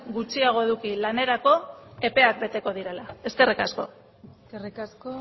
gutxiago eduki lanerako epeak beteko direla eskerrik asko eskerrik asko